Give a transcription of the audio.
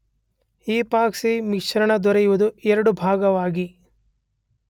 Epoxy ಮಿಶ್ರಣ ದೊರೆಯುವುದು ಎರಡು ಭಾಗವಾಗಿ.